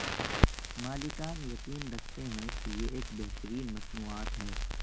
مالکان یقین رکھتے ہیں کہ یہ ایک بہترین مصنوعات ہے